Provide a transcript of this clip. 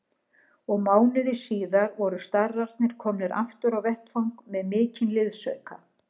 Og mánuði síðar voru starrarnir komnir aftur á vettvang með mikinn liðsauka.